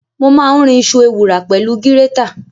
Mo máa ń rin iṣu ewùrà pẹ̀lú gírétà.